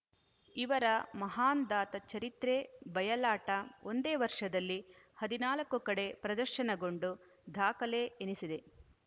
ಇವರ ಮಹಂದಾತ ಚರಿತ್ರೆ ಬಯಲಾಟ ಒಂದೇ ವರ್ಷದಲ್ಲಿ ಹದಿನಾಲ್ಕು ಕಡೆ ಪ್ರದರ್ಶನಗೊಂಡು ದಾಖಲೆ ಎನಿಸಿದೆ